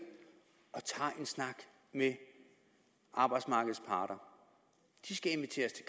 og tager en snak med arbejdsmarkedets parter de skal inviteres